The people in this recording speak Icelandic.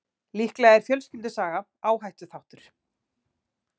Líklega er fjölskyldusaga áhættuþáttur.